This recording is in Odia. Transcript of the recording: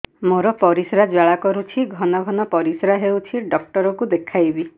ମୋର ପରିଶ୍ରା ଜ୍ୱାଳା କରୁଛି ଘନ ଘନ ପରିଶ୍ରା ହେଉଛି ଡକ୍ଟର କୁ ଦେଖାଇବି